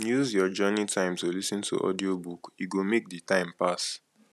use your journey time to lis ten to audiobook e go make the time pass